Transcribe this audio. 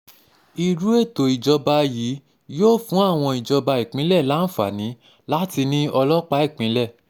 irú ètò ìjọba yìí yóò fún àwọn ìjọba ìpínlẹ̀ láǹfààní láti ní ọlọ́pàá ìpínlẹ̀